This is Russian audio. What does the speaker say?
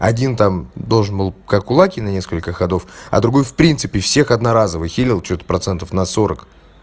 один там должен был как кулакин на несколько ходов а другой в принципе всех одноразовых хилил процентов на сорок